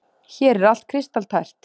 Hér er allt kristaltært.